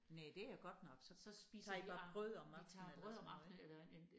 Næh det er godt nok så tager I bare brød om aftenen eller sådan noget ik?